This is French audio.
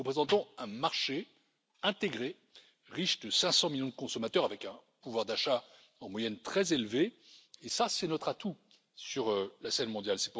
Nous représentons un marché intégré, riche de 500 millions de consommateurs, avec un pouvoir d'achat en moyenne très élevé et c'est là notre atout sur la scène mondiale.